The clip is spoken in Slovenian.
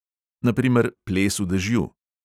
Na primer ples v dežju.